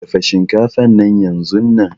Dafa shinkafan nan yanzunnan.